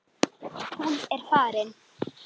Hún farin.